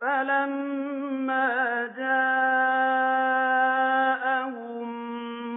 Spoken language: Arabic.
فَلَمَّا جَاءَهُم